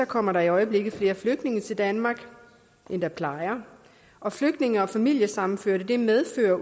kommer der i øjeblikket flere flygtninge til danmark end der plejer og flygtninge og familiesammenføringer medfører